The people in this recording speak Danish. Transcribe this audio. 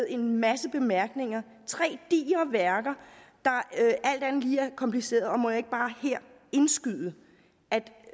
en masse bemærkninger tre digre værker der alt andet lige er komplicerede og må jeg ikke bare her indskyde